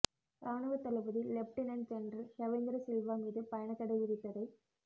இராணுவத் தளபதி lieutenant general Shavendra Silva மீது பயணத்தடை விதித்ததை